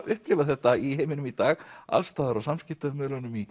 upplifa þetta í heiminum í dag alls staðar á samskiptamiðlunum í